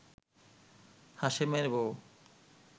হাশেমের বউ